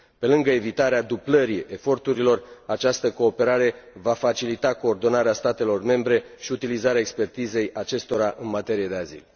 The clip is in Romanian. Pe lângă evitarea dublării eforturilor, această cooperare va facilita coordonarea statelor membre și utilizarea expertizei acestora în materie de azil.